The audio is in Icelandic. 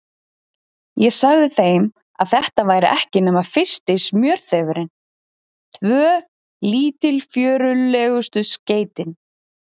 Ég sagði þeim, að þetta væri ekki nema fyrsti smjörþefurinn, tvö lítilfjörlegustu skeytin.